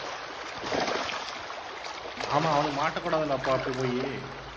ஆமாம் அவனுங்க மாட்டகூடாத்துல்ல அப்ப அப்பிடி போயி